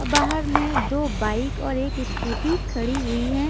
बाहर में दो बाइक और एक स्कूटी खड़ी हुई है।